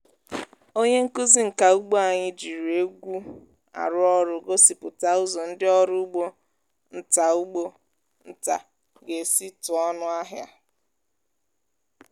onye nkuzi nka ugbo anyị jiri egwu arụ ọrụ gosipụta ụzọ ndị ọrụ ugbo nta ugbo nta ga-esi tụọ ọnụ ahịa.